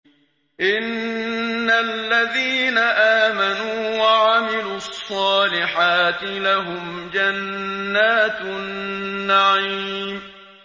إِنَّ الَّذِينَ آمَنُوا وَعَمِلُوا الصَّالِحَاتِ لَهُمْ جَنَّاتُ النَّعِيمِ